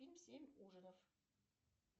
фильм семь ужинов